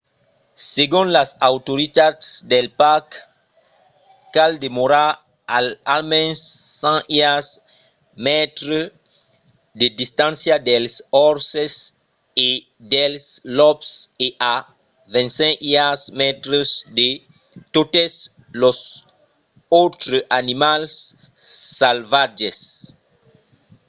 segon las autoritats del parc cal demorar a almens 100 iards/mètres de distància dels orses e dels lops e a 25 iards/mètres de totes los autres animals salvatges!